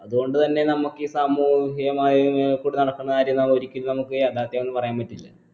അത് കൊണ്ട് തന്നെ നമ്മുക്ക് ഈ സാമൂഹ്യ മാധ്യമങ്ങൾക്കൂടി നടക്കുന്ന കാര്യം നാളെ ഒരിക്കലും നമുക്ക് യാഥാർഥ്യമെന്ന് പറയാൻ പറ്റില്ല